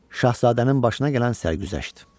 Şahzadənin başına gələn sərgüzəşt.